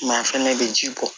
Maa fana bɛ ji bɔ